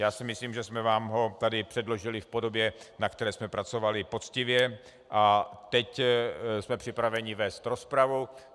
Já si myslím, že jsme vám ho tady předložili v podobě, na které jsme pracovali poctivě, a teď jsme připraveni vést rozpravu.